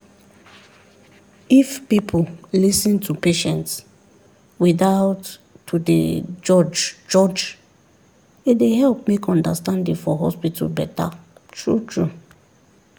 if people lis ten to patients without to dey judge judge e dey help make understanding for hospital better true-true.